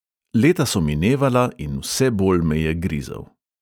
Leta so minevala in vse bolj me je grizel.